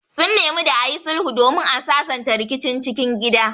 Sun nemi da ayi sulhu domin a sasanta rikicin cikin gida